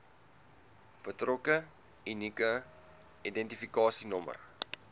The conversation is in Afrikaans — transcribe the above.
betrokke unieke identifikasienommer